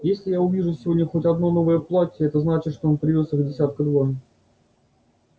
если я увижу сегодня хоть одно новое платье это значит что он привёз их десятка два